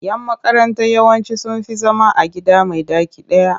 Yan makaranta yawanci sun fi zama a gida mai ɗaki ɗaya.